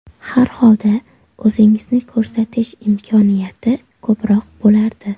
Har holda o‘zingizni ko‘rsatish imkoniyati ko‘proq bo‘lardi.